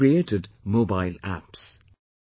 They have created Mobile Apps